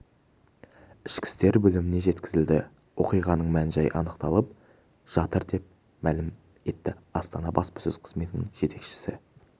ішкі істер бөліміне жеткізілді оқиғаның мән-жайы анықталып жатыр деп мәлім етті астана баспасөз қызметінің жетекшісі